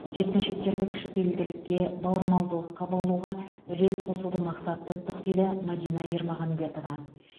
жеткіншектерді кішіпейілділікке бауырмалдыққа баулуға үлес қосуды мақсат тұттық дейді мадина ермағанбетова